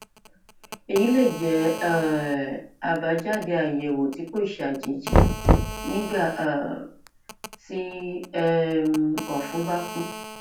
èyí lè jẹ um àbájáde àyẹwò tí kò ṣàjèjì nígbà um tí um ọfun bá kún